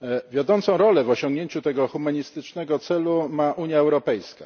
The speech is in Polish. Wiodącą rolę w osiągnięciu tego humanistycznego celu ma Unia Europejska.